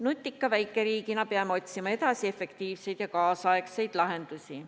Nutika väikeriigina peame otsima edasi efektiivseid ja kaasaegseid lahendusi.